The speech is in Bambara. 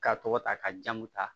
K'a tɔgɔ ta ka jamu ta